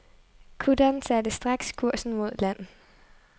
Kutteren satte straks kursen mod land.